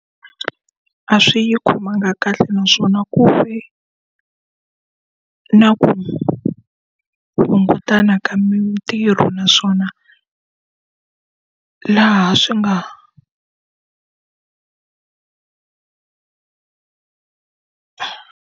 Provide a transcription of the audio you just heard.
A swi yi khomangi kahle naswona ku ri na ku hungutana ka mintirho naswona laha swi nga.